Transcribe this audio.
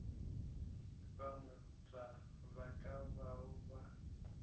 bagwera ba ka bao ba